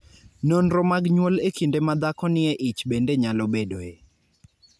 Nonro mag nyuol e kinde ma dhako nie ich bende nyalo bedoe.